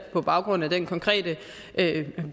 er på baggrund af den konkrete